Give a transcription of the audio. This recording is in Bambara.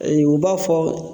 Ee u b'a fɔ